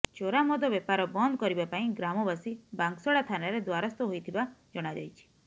ଚୋରା ମଦ ବେପାର ବନ୍ଦ କରିବା ପାଇଁ ଗ୍ରାମବାସୀ ବାଂଶଡା ଥାନାରେ ଦ୍ୱାରସ୍ଥ ହୋଇଥିବା ଜଣାଯାଇଛି